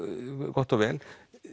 gott og vel